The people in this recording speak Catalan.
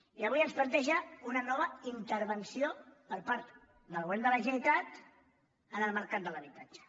i avui ens planteja una nova intervenció per part del govern de la generalitat en el mercat de l’habitatge